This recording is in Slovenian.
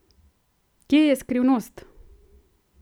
Kje je skrivnost?